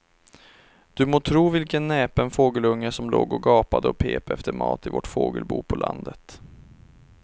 Du må tro vilken näpen fågelunge som låg och gapade och pep efter mat i vårt fågelbo på landet.